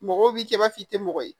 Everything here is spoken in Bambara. Mɔgɔw b'i kɛ i b'a fɔ i tɛ mɔgɔ ye